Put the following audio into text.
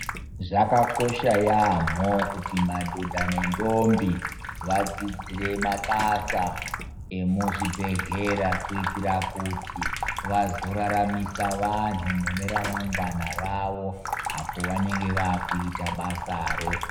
Zvakakosha yampho kuti madhodha nendombi vadzidzire mabasa emuzvibhedhlera kuitira kuti vazoraramisa vantu muneramangwana rawo apo vanenge vakuita basaro.